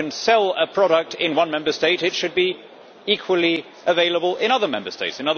If you can sell a product in one Member State, it should be equally available in other Member States.